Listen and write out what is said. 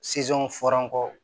fɔra ko